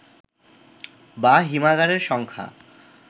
বা হিমাগারের সংখ্যা